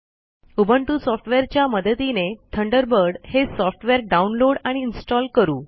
Ubuntu सॉफ्टवेअरच्या मदतीने Thunderbird हे सॉफ्टवेअरDownload आणि इन्स्टॉल करू